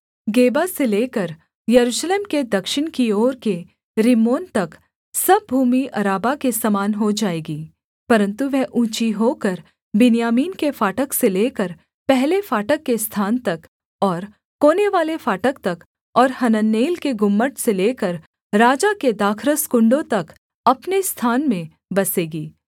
गेबा से लेकर यरूशलेम के दक्षिण की ओर के रिम्मोन तक सब भूमि अराबा के समान हो जाएगी परन्तु वह ऊँची होकर बिन्यामीन के फाटक से लेकर पहले फाटक के स्थान तक और कोनेवाले फाटक तक और हननेल के गुम्मट से लेकर राजा के दाखरस कुण्डों तक अपने स्थान में बसेगी